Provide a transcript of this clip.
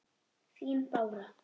Þín, Bára.